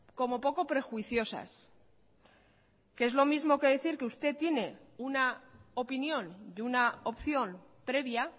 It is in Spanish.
como poco prejuiciosas que es lo mismo que decir que usted tiene una opinión de una opción previa